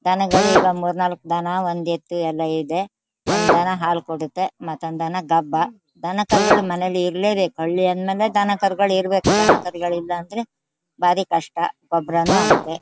ದನಗಳು ಈಗ ಮೂರ್ನಾಲ್ಕು ದನ ಒಂದ್ ಎತ್ತು ಎಲ್ಲಾ ಇದೆ. ಒಂದ್ ದನ ಹಾಲ್ ಕೊಡತ್ತೆ ಮತ್ತೊಂದು ದನ ದಬ್ಬ ದನ ಕರು ಗಳು ಮನೆಲ್ ಇರ್ಲೇ ಬೇಕು ಹಳ್ಳಿ ಅನ್ ಮೆಲ್ ದನಕರುಗಳು ಇರ್ಬೇಕು ದನ ಕರುಗಳು ಇಲ್ಲಾ ಅಂದ್ರೆ ಭಾರಿ ಕಷ್ಟ ಗೋಬ್ರಾನು ಆಗತ್ತೆ.